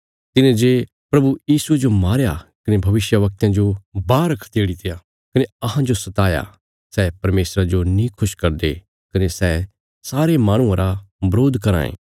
तिन्हें जे प्रभु यीशुये जो मारया कने भविष्यवक्तयां जो बाहर खदेड़ीत्या कने अहांजो सताया सै परमेशरा जो नीं खुश करदे कने सै सारे माहणुआं रा वरोध कराँ ये